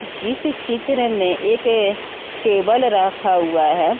इस चित्र में एक टेबल रखा हुआ है।